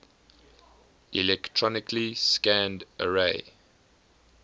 electronically scanned array